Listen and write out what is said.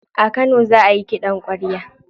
A kano za ayi kiɗan kwarya.